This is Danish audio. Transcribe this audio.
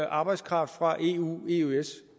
arbejdskraft fra eu eøs